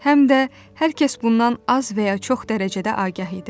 Həm də hər kəs bundan az və ya çox dərəcədə agah idi.